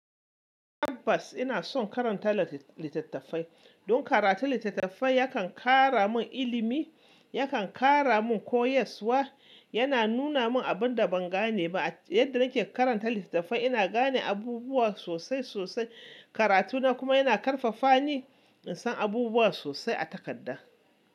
Tabbas ina son karanta littattafai. Don karatun littattafai yakan kara min ilimi, yakan kara min koyaswa, yana nuna min abin da ban gane ba. Yadda nake karanta littattafai ina gane abubuwa sosai sosai. Karatu na kuma yana karfafa ni in san abubuwa sosai a takarda.